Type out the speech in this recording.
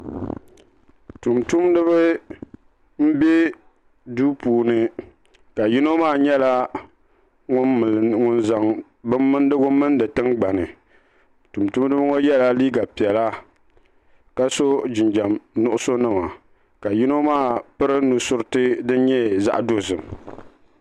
Tumtumdiba m be duu puuni ka yino maa nyɛla ŋun zaŋ bin mindigu mindi tingbani tumtumdiba ŋɔ yela liiga piɛla ka so jinjiɛm nuɣuso nima ka yino maa piri nusuriti din nyɛ zaɣa dozim.